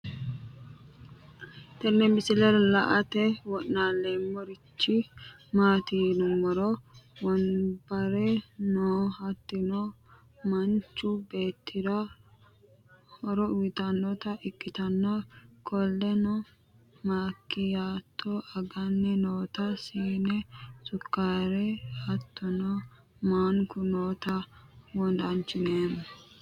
Tenne misileraa laate wonalomarchii matti yiniroo wonbaree noo hattino manchuu bettira hooro uyittanota ekittana kolleno makiyatto aganni noota sinne sukkare hattono mankuu noota wodanchomma